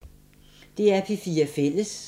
DR P4 Fælles